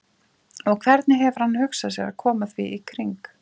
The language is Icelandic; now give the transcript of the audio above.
Og hvernig hefur hann hugsað sér að koma því í kring?